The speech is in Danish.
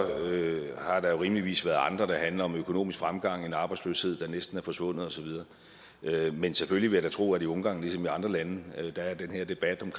der jo rimeligvis været andre der handler om økonomisk fremgang og en arbejdsløshed der næsten er forsvundet og så videre men selvfølgelig vil jeg da tro at i ungarn ligesom i andre lande er den her debat om